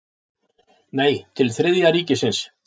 Nei, til Þriðja ríkisins.